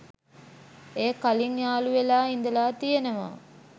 එය කලින් යාලු වෙලා ඉඳල තියනවා